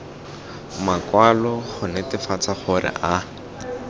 makwalo go netefatsa gore a